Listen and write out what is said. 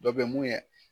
Dɔ bɛ mun ye